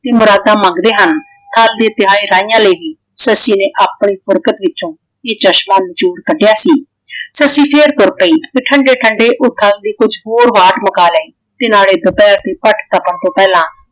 ਤੇ ਮੁਰਾਦਾਂ ਮੰਗਦੇ ਹਨ ਤੇ ਖਾਲੀ ਤਹਾਏ ਰਾਹੀਆਂ ਲੇ ਗਈ। ਸੱਸੀ ਨੇ ਆਪਣੀ ਬੁਰਕਤ ਵਿਚੋਂ ਇਹ ਚਸ਼ਮਾ ਨਿਚੋੜ ਕੱਢਿਆ ਸੀ। ਸੱਸੀ ਫੇਰ ਤੁਰ ਪਈ ਤੇ ਠੰਡੇ ਠੰਡੇ ਉਹ ਖਾਣ ਲਈ ਕੁਛ ਹੋਰ ਵਾਟ ਮੁੱਕਾ ਲਏ ਤੇ ਨਾਲੇ ਦੁਪਹਿਹ ਦੀ ਪੱਟ ਤਪਣ ਤੋਂ ਪਹਿਲਾਂ